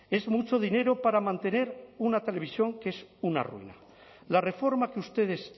es mucho dinero para mantener una televisión que es una ruina la reforma que ustedes